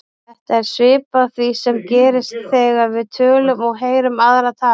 Þetta er svipað því sem gerist þegar við tölum og heyrum aðra tala.